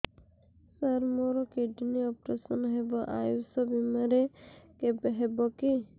ସାର ମୋର kidney operation ହେବ ଆୟୁଷ ବିମାରେ ହେବ କି